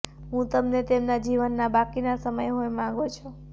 હું તમને તેમના જીવનના બાકીના સમય હોઈ માંગો છો